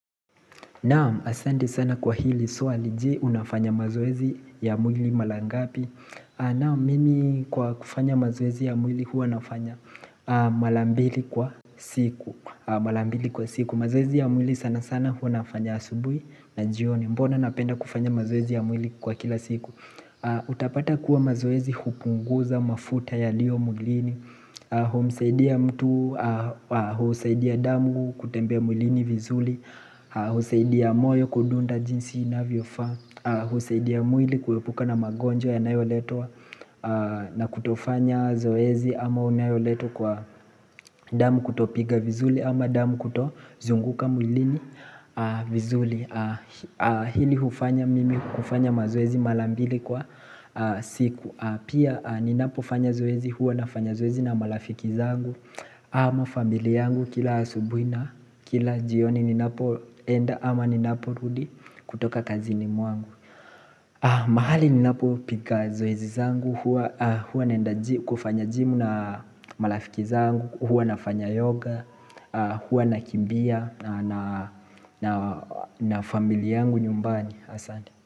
Naam asanti sana kwa hili swali je unafanya mazoezi ya mwili mala ngapi Naam mimi kwa kufanya mazoezi ya mwili huwa nafanya malambili kwa siku Malambili kwa siku mazoezi ya mwili sana sana huwa nafanya asubui na jioni Mbona napenda kufanya mazoezi ya mwili kwa kila siku Utapata kuwa mazoezi hupunguza mafuta ya lio mwilini humsaidia mtu, husaidia damu, kutembea mwilini vizuli husaidia moyo kudunda jinsi inavyo faa husaidia mwili kuepuka na magonjwa ya nayoletwa na kutofanya zoezi ama unayoletwa kwa damu kutopiga vizuli ama damu kuto zunguka mwilini vizuli Hili hufanya mimi kufanya mazoezi malambili kwa siku Pia ninapo fanya zoezi huwa na fanya zoezi na malafiki zangu ama familia yangu kila asubui na Kila jioni ni napo enda ama ni napo rudi kutoka kazi ni mwangu. Mahali ni napo piga zoezi zangu, huwa naenda kufanya gym na malafiki zangu, huwa nafanya yoga, huwa na kimbia na familia yangu nyumbani.